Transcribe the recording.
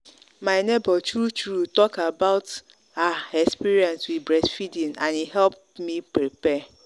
my neighbor true true talk about about her experience with breast feeding and e help me prepare.